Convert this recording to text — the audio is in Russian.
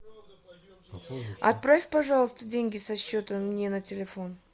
отправь пожалуйста деньги со счета мне на телефон